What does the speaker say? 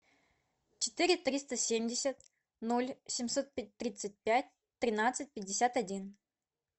четыре триста семьдесят ноль семьсот тридцать пять тринадцать пятьдесят один